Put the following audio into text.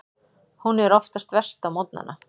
Hún er oftast verst á morgnana.